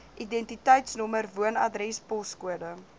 identiteitsnommer woonadres poskode